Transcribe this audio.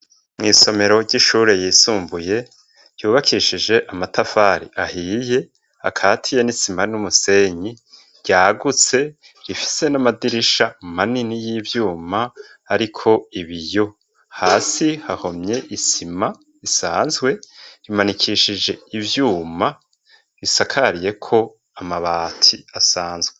Mw'isomero ry'ishure ryisumbuye ryubakishije amatafari ahiye akatiye n'isima n'umusenyi, ryagutse rifise n'amadirisha manini y'ivyuma ariko ibiyo, hasi hahomye isima isanzwe, rimanikishije ivyuma risakariyeko amabati asanzwe.